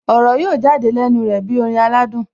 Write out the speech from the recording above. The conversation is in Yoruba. Ọ̀rọ̀ yóò jáde lẹ́nu rẹ̀ bí orin aládùn